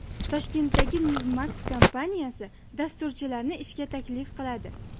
Toshkentdagi Newmax kompaniyasi dasturchilarni ishga taklif qiladi.